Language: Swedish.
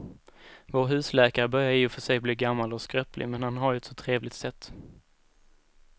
Vår husläkare börjar i och för sig bli gammal och skröplig, men han har ju ett sådant trevligt sätt!